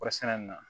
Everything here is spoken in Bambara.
Kɔɔrisɛnɛ nin na